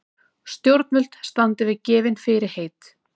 Stjórnvöld standi við gefin fyrirheit